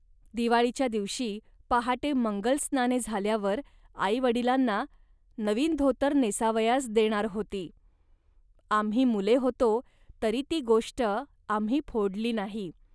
दिवाळीच्या दिवशी पहाटे मंगल स्नाने झाल्यावर आई वडिलांना नवीन धोतर नेसावयास देणार होती. आम्ही मुले होतो, तरी ती गोष्ट आम्ही फोडली नाही